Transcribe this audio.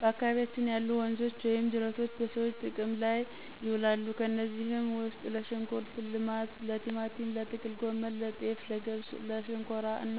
በአካባቢያችን ያሉ ወንዞች ወይም ጅረቶች በሰዎች ጥቅም ላይ ይውላሉ። ከነዚህም ውስጥ ለሽንኩርት ልማት፣ ለቲማቲም፣ ለጥቅል ጎመን፣ ለጤፍ፣ ለገብስ ለሸንኮራ እና